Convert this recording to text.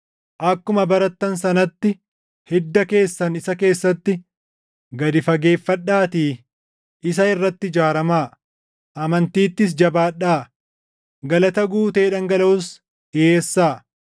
akkuma barattan sanatti hidda keessan isa keessatti gad fageeffadhaatii isa irratti ijaaramaa; amantiittis jabaadhaa; galata guutee dhangalaʼus dhiʼeessaa.